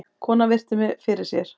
Konan virti mig fyrir sér.